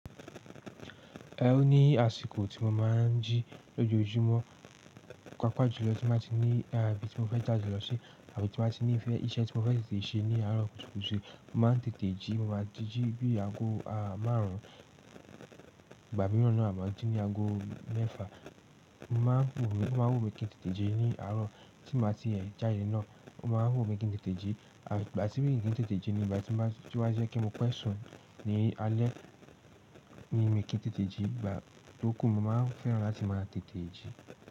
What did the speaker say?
Ẹ́ o ní àsìkò tí mo máa ń jí lójoojúmọ́, pàápàá jùlọ tí mo bá ti ní ibí tí mo fẹ́ jáde lọ ṣe àbí tí mo bá ti ní ìfẹ́ iṣẹ́ tí mo fẹ́ tètè ṣe ní àárọ̀ kùtùkùtù, mo máa ń tètè jí, mo máa jí jí bí i aago márùn-ún, ìgbà mìíràn náà a máa ń jí ní aago mẹ́fà. Mo máa ń wò, mo máa ń wò mi kí n tètè jí ní àárọ̀ tí mo bá ti ẹ̀ jáde náà, mo máa ń wò mi kí n tètè jí àbí ìgbà tí mi kí n tètè jí ní ìgbà tí wá, tí wá jẹ́ kí mo pẹ́ sùn ní alẹ́ ni mi kí n tètè jí, ìgbà tó kù mo máa ń fẹ́ràn láti máa tètè jí.